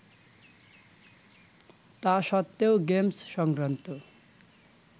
তা সত্বেও গেমস সংক্রান্ত